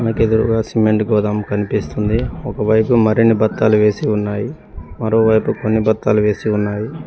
నాకు ఎదురుగా సిమెంట్ గోదాం కనిపిస్తుంది ఒకవైపు మరిన్ని బత్తాలు వేసి ఉన్నాయి మరోవైపు కొన్ని బత్తాలు వేసి ఉన్నాయి.